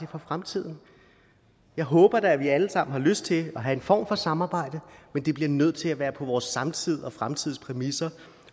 for fremtiden jeg håber da at vi alle sammen har lyst til at have en form for samarbejde men det bliver nødt til at være på vores samtids og vores fremtids præmisser